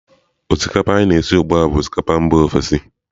Osikapa anyị na-esi ugbu a bụ osikapa mba ofesi.